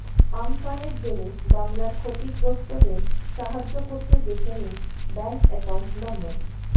আমফানের জেরে বাংলার ক্ষতিগ্রস্থদের সাহায্য করতে দেখে নিন ব্যাঙ্ক অ্যাকউন্ট নম্বর